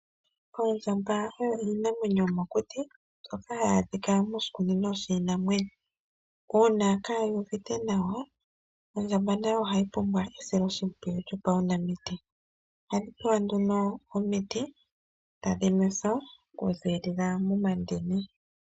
Oondjamba odho iinamwenyo yomokuti nohayi adhika ngaashingeyi moshikunino shiinamwenyo. Uuna kayi uvite nawa nayo ohayi pumbwa esilo shimpwiyu lyo paunamiti tadhi nwethwa ku ziilila momandini.